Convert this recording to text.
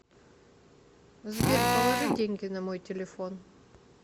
сбер положи деньги на мой телефон